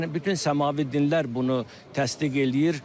Yəni bütün səmavi dinlər bunu təsdiq eləyir.